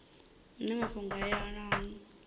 hune mafhungo a yelanaho na